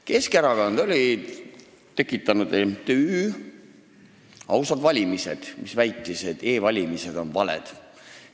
Keskerakond oli tekitanud MTÜ Ausad Valimised, mis väitis, et e-valimised on valed.